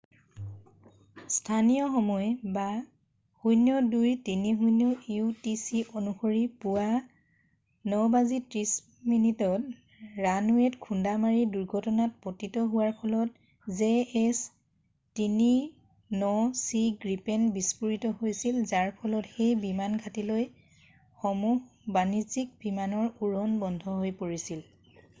স্থানীয় সময় 0230 utc অনুসৰি পুৱা 9:30 বজাত ৰানৱেত খুন্দা মাৰি দুৰ্ঘটনাত পতিত হোৱাৰ ফলত jas 39c গ্ৰিপেন বিস্ফোৰিত হৈছিল যাৰ ফলত সেই বিমানঘাটিলৈ সমূহ বাণিজ্যিক বিমানৰ উৰণ বন্ধ হৈ পৰিছিল।